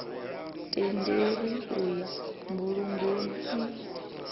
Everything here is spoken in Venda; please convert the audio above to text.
tendelwi u ya mbulungoni n